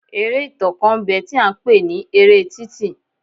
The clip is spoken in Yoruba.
Eré ìtàn kan ń bẹ tí a ń pè ní eré títì.